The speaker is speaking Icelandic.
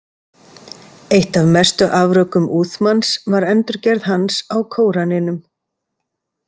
Eitt af mestu afrekum Uthmans var endurgerð hans á Kóraninum.